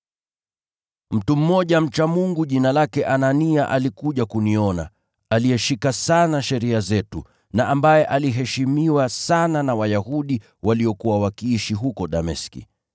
“Mtu mmoja mcha Mungu, jina lake Anania, alikuja kuniona. Alizishika sana sheria zetu, na aliheshimiwa sana na Wayahudi waliokuwa wakiishi huko Dameski.